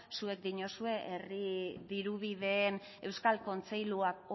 zuek diozue herri dirubideen euskal kontseiluak